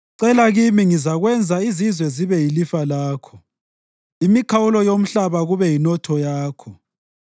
Cela kimi, ngizakwenza izizwe zibe yilifa lakho, imikhawulo yomhlaba kube yinotho yakho.